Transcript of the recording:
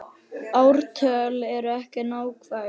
Ártöl eru ekki nákvæm.